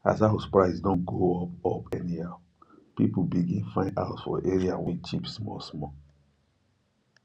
as house price don go up up anyhow people begin find house for area wey cheap small